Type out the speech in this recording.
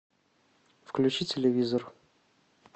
включи телевизор